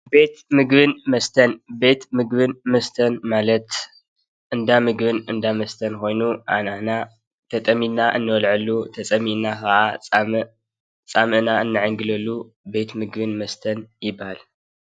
ቤት ምግብን መስተን፡- ቤት ምግብን መስተን ማለት እንዳምብን እንዳመስተን ኮይኑ እንተጠሚና እንበልዐሉ እንፀሚኡና ከዓ ፃምእና እንዕንገለሉ ቤት ምግብን መስተን ይባሃል፡፡